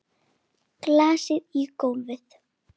Glasið í gólfið.